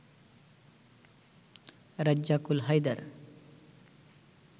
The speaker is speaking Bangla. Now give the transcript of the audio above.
রেজ্জাকুল হায়দার